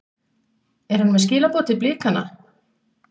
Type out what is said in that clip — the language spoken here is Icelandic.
Er hann með skilaboð til Blikana?